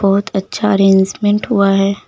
बहुत अच्छा अरेंजमेंट हुआ है।